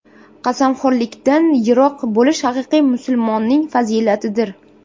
Qasamxo‘rlikdan yiroq bo‘lish haqiqiy musulmonning fazilatidir.